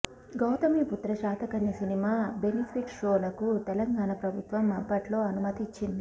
Gautamiputra Satakarni cinema benefit షోలకు తెలంగాణ ప్రభుత్వం అప్పట్లో అనుమతి ఇచ్చింది